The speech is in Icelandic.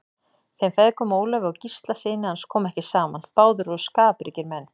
Þeim feðgum, Ólafi og Gísla syni hans, kom ekki saman, báðir voru skapríkir menn.